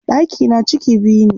Ɗakina ciki biyu ne.